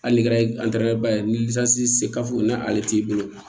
Hali ni kɛra ye ni se n'ale t'i bolo